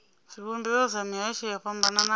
zwivhumbeo zwa mihasho yo fhambanaho